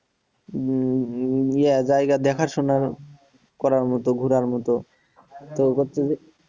জায়গা দেখা শোনার করার মতো ঘোরার মতো তো হচ্ছে যে।